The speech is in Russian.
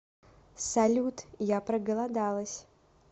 салют я проголодалась